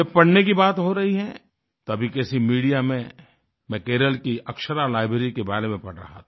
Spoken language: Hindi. जब पढ़ने की बात हो रही है तभी किसी मीडिया में मैं केरल की अक्षरा लाइब्ररी के बारे में पढ़ रहा था